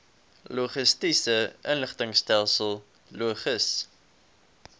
logistiese inligtingstelsel logis